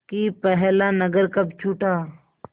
कि पहला नगर कब छूटा